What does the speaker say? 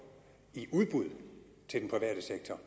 i udbud til den private sektor